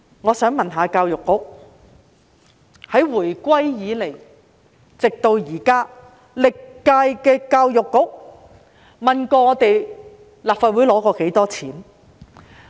我想問教育局，自回歸至今，歷屆教育局得到立法會多少撥款？